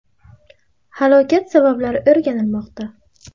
Halokat sabablari o‘rganilmoqda.